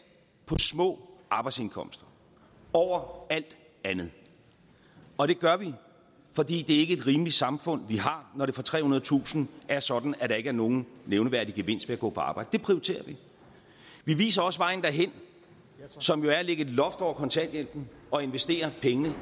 på små arbejdsindkomster over alt andet og det gør vi fordi det ikke er et rimeligt samfund vi har når det for trehundredetusind er sådan at der ikke er nogen nævneværdig gevinst ved at gå på arbejde det prioriterer vi vi viser også vejen derhen som jo er at lægge et loft over kontanthjælpen og investere pengene